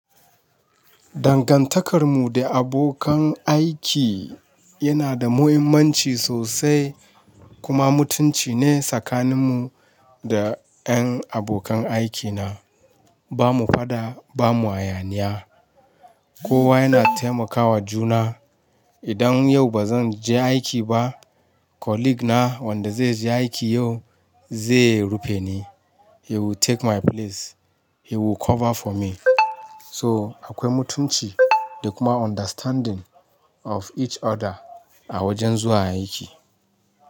Dangantakarmu da abokan aiki yana da muhimmanci sosai kuma mutunci ne tsakanin mu da ƴan abokan aikina. Ba mu faɗa ba mu hayaniya. Kowa yana taimakawa juna. Idan yau ba zan je aiki ba, colleague na wanda zai je aiki yau zai rufe ni. He will take my place. He will cover for me. So akwai mutunci da kuma understanding of each other a wajen zuwa aiki.